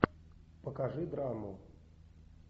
покажи драму